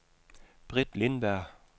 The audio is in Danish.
Britt Lindberg